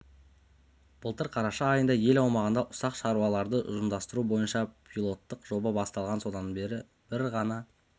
былтыр қараша айында ел аумағында ұсақ шаруашылықтарды ұжымдастыру бойынша пилоттық жоба басталған содан бері бір ғана